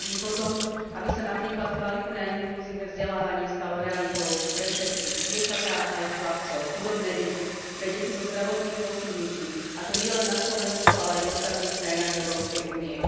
Túžim po tom, aby sa napríklad kvalitné a inkluzívne vzdelávanie stalo realitou pre všetkých dievčatá aj chlapcov, chudobné deti, pre deti so zdravotným postihnutím, a to nielen na Slovensku, ale aj v ostatných krajinách Európskej únie.